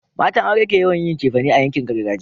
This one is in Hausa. matan aure ke yawon yin cefane a yankin gargajiya